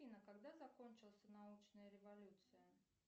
афина когда закончилась научная революция